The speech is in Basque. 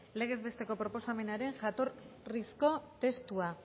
legez besteko proposamenaren jatorrizko testua